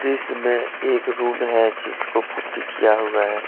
इसमें एक रूम है जिसको पुट्टी किया हुआ है।